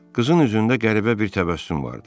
Qızın üzündə qəribə bir təbəssüm vardı.